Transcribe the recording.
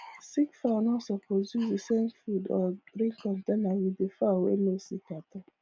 sick fowl no suppose use the same food or drink countainer with the fowl way no sick at all